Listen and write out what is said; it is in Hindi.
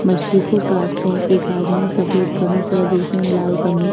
मछली को काट रहा है एक आदमी ने सफेद कमीज तथा दूसरे ने लाल कमीज --